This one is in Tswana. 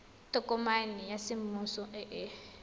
tokomane ya semmuso e e